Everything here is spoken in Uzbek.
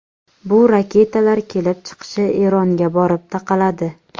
Bu raketalar kelib chiqishi Eronga borib taqaladi.